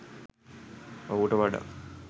ඔහුට වඩා